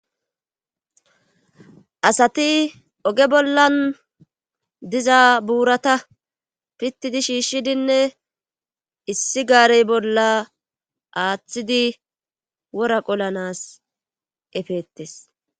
Asati oge bollan diza buurata pitidi shiishshidinne issi gaarey bolla aaththidi wora qolanas efeettes.